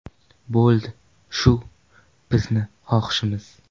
Bo‘ldi, shu, bizni xohishimiz”.